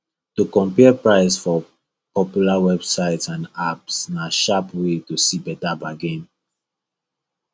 to compare price for popular websites and apps na sharp way to see better bargain